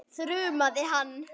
þrumaði hann.